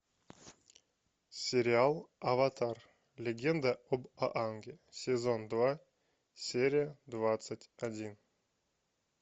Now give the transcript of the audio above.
сериал аватар легенда об аанге сезон два серия двадцать один